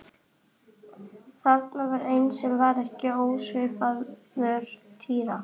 Þarna var einn sem var ekki ósvipaður Týra.